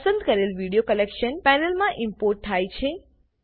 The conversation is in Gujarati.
પસંદ કરેલ વિડીયો કલેક્શન પેનલમાં ઈમ્પોર્ટ થાય છે